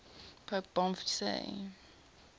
pope boniface